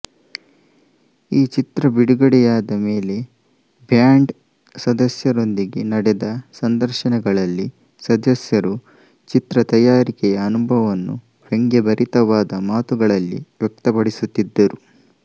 ಈ ಚಿತ್ರಬಿಡುಗಡೆಯಾದ ಮೇಲೆ ಬ್ಯಾಂಡ್ ಸದಸ್ಯರೊಂದಿಗೆ ನಡೆಸಿದ ಸಂದರ್ಶನಗಳಲ್ಲಿ ಸದಸ್ಯರು ಚಿತ್ರ ತಯಾರಿಕೆಯ ಅನುಭವವನ್ನು ವ್ಯಂಗ್ಯ ಭರಿತವಾದ ಮಾತುಗಳಲ್ಲಿ ವ್ಯಕ್ತಪಡಿಸುತ್ತಿದ್ದರು